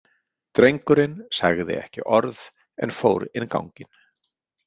Drengurinn sagði ekki orð en fór inn ganginn.